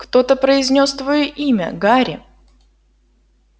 кто-то произнёс твоё имя гарри